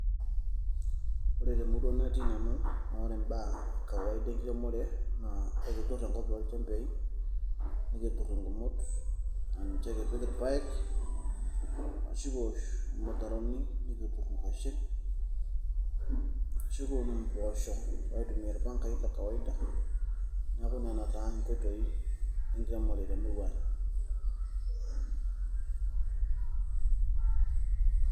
Ore temurua natii nanu, na ore imbaa ekawaida enkiremore, na ekitur enkop tolchembei, nikitur igumot, aninche kipik irpaek, ashu kiwosh ilmutaroni. Nikitur inkwashen ashu kiun impoosho, aitumia irpankai le kawaida. Neeku nena taa inkoitoi enkiremore temurua ang'.